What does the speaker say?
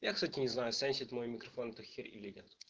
я кстати не знаю сенсит мой микрофон эту херь или нет